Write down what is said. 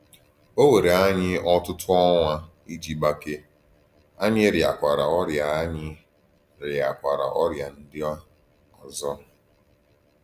Ọ̀ wèrè ànyí ọ̀tụ̀tụ̀ ọnwà íjì gbàkèè, ànyí rịàkwárà ọrìà ànyí rịàkwárà ọrìà ndí òzò.